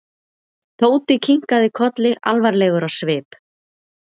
Tóti kinkaði kolli alvarlegur á svip.